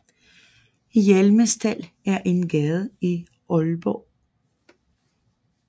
Hjelmerstald er en gade i Aalborg